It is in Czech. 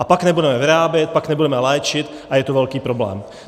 A pak nebudeme vyrábět, pak nebudeme léčit a je to velký problém.